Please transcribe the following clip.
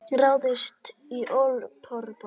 Ráðist á olíuborpall